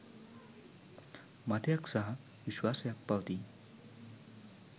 මතයක් සහ විශ්වාසයක් පවතී.